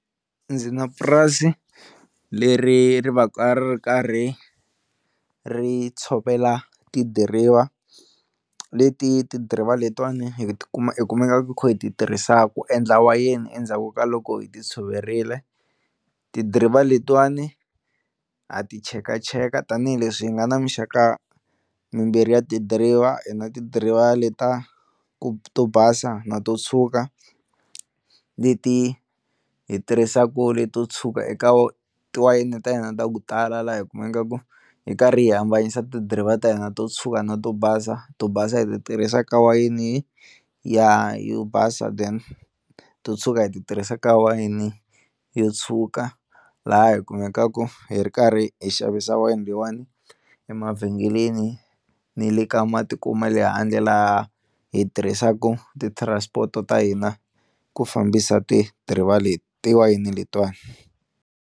Ndzi na purasi leri ri va ka ri ri karhi ri tshovela tidiriva leti ti-driver letiwani hi ti kuma hi kumekaka hi kha hi ti tirhisaku ku endla wayeni endzhaku ka loko hi ti tshoverile tidiriva letiwani ha ti chekacheka tanihileswi hi nga na mixaka mimbirhi ya tidiriva, hi na tidiriva le ta ku to basa na to tshwuka leti hi tirhisaku leto tshwuka eka tiwayini ta hina ta ku tala laha hi kumekaka hi karhi hi hambanyisa tidiriva ta hina to tshwuka na to basa, to basa hi ti tirhisa ka wayini ya yo basa then to tshwuka hi ti tirhisa ka wayini yo tshwuka, laha hi kumekaku hi ri karhi hi xavisa wayini leyiwani emavhengeleni ni le ka matiko ma le handle laha hi tirhisaka ti-transport ta hina ku fambisa tidiriva le tiwayini letiwani.